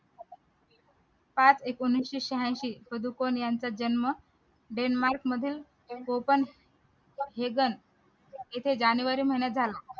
पाच एकोणीशे शहाऐंशी पादुकोण यांचा जन्म denmark मधील कोकण हेजन येथे जानेवारी महिन्यात झाला